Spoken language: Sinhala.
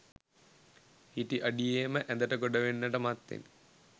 හිටි අඩියේම ඇඳට ගොඩවෙන්නට මත්තෙන්